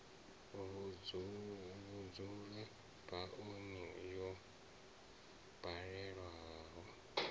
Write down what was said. vhudzula ba oni yo baleaho